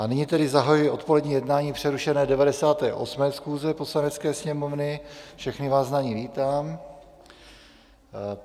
A nyní tedy zahajuji odpolední jednání přerušené 98. schůze Poslanecké sněmovny, všechny vás na ní vítám.